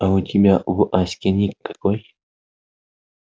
а у тебя в аське ник какой